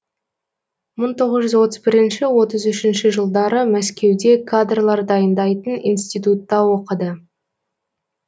мың тоғыз жүз отыз бірінші отыз үшінші жылдары мәскеуде кадрлар дайындайтын институтта оқыды